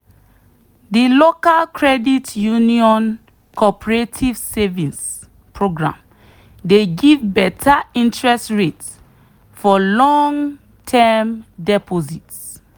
the local credit union cooperative savings program dey give better interest rate for long-term deposit.